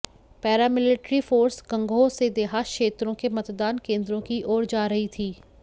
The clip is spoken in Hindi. पैरामिल्ट्री फोर्स गंगोह से देहात क्षेत्रों के मतदान केन्द्रों की ओर जा रही थी